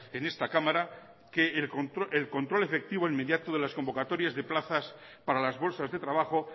en esta cámara que el control efectivo inmediato de las convocatorias de plazas para las bolsas de trabajo